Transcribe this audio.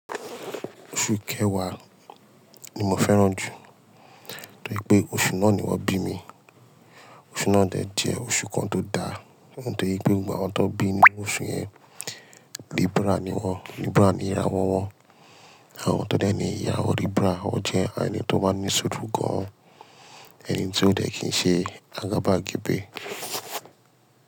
Oṣù kẹwàá ni mo fẹ́ràn jù torí pé oṣù náà ni wón bí mi. Oṣù náà dẹ̀ jẹ́ oṣù kan tó da, ohun torí pé gbogbo àwọn tó bí ni oṣù yẹn Libra ni wọ́n, Libra ni ìráwọ wọ́n àwọn tó dẹ̀ ní ìráwọ Libra wọ́n jẹ́ eni tó máa ń ní ṣuúru gán, ẹni tí ó dẹ̀ kí n ṣe agábagbẹ.